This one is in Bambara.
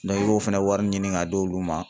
i b'o fana wari ɲini ka d'olu ma.